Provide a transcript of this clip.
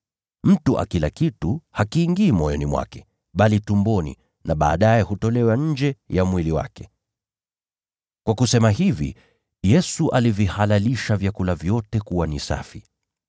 Mtu akila kitu hakiingii moyoni mwake bali tumboni, na baadaye hutolewa nje ya mwili wake.” (Kwa kusema hivi, Yesu alivihalalisha vyakula vyote kuwa ni “safi.”)